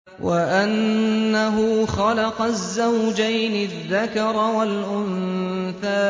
وَأَنَّهُ خَلَقَ الزَّوْجَيْنِ الذَّكَرَ وَالْأُنثَىٰ